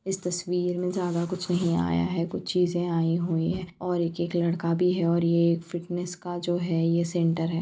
इस तस्वीर मे ज्यादा कुछ नहीं आया है कुछ चीज़े आईं हुई है और एक एक लड़का भी है और ये फिटनेस का जो है ये सेन्टर है।